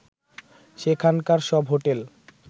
সেখানকার সব হোটেল